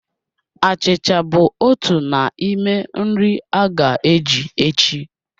Achịcha bụ otu n'ime nri a ga-eji echi